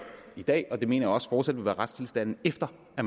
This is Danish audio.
i dag og det mener jeg også fortsat vil være retstilstanden efter at